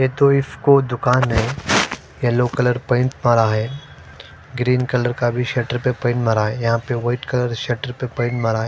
ये तो इसको दुकान है येलो कलर पेंट पड़ा है ग्रीन कलर का भी सटर पर पेंट मारा है यहा पे वाइट कलर शटर पर पेंट मारा है।